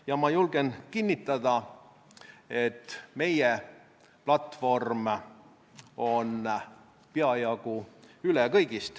– ja ma julgen kinnitada, et meie platvorm on kõigist peajagu üle.